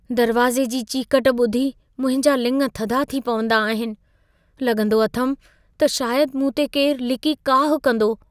दरवाज़े जी चीकट ॿुधी मुंहिंजा लिङ थधा थी पवंदा आहिनि। लॻंदो अथमि, त शायदि मूं ते केरु लिकी काहु कंदो।